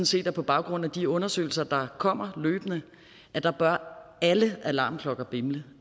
set at på baggrund af de undersøgelser der kommer bør alle alarmklokker bimle